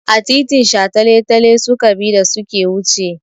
Ta titin shataletale suka bi da su ke wuce.